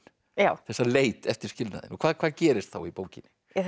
þessa leit eftir skilnaðinn og hvað hvað gerist þá í bókinni